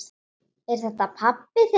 Er þetta pabbi þinn?